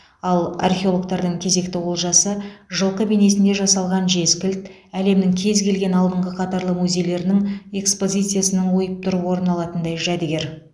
ал археологтардың кезекті олжасы жылқы бейнесінде жасалған жез кілт әлемнің кез келген алдыңғы қатарлы музейлерінің экспозициясынан ойып тұрып орын алатындай жәдігер